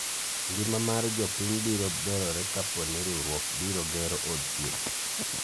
ngima mar jopiny biro berore kapo ni riwruok biro gero od thieth